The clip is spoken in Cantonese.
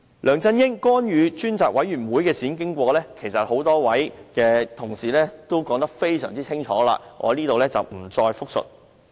梁振英干預專責委員會的事件經過，多位同事已經說得非常清楚，我在此不再複述。